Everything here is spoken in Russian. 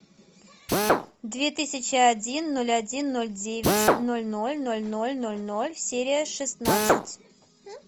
две тысячи один ноль один ноль девять ноль ноль ноль ноль ноль ноль серия шестнадцать